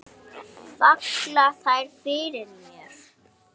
Falla þær fyrir mér?